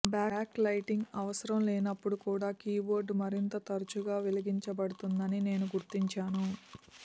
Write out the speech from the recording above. back lighting అవసరం లేనప్పుడు కూడా కీబోర్డు మరింత తరచుగా వెలిగించబడిందని నేను గుర్తించాను